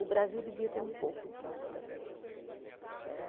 O Brasil devia ter um pouco disso também né.